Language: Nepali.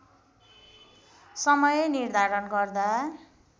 समय निर्धारण गर्दा